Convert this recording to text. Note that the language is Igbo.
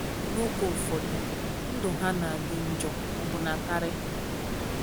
N’oge ụfọdụ ndụ ha na - adị njọ ọbụna karị.